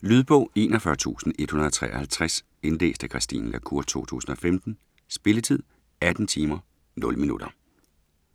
Lydbog 41153 Indlæst af Christine la Cour, 2015. Spilletid: 18 timer, 0 minutter.